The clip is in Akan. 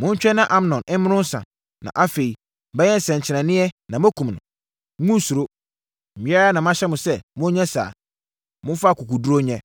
Montwɛn na Amnon mmoro nsã, na afei mɛyɛ nsɛnkyerɛnneɛ na moakum no. Monnsuro. Me ara na mahyɛ mo sɛ monyɛ saa. Momfa akokoɔduru nyɛ.”